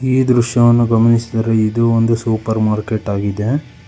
ಈ ದೃಶ್ಯವನ್ನು ಗಮನಿಸಿದರೆ ಇದು ಒಂದು ಸೂಪರ್ ಮಾರ್ಕೆಟ್ ಆಗಿದೆ.